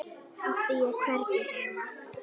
Átti ég hvergi heima?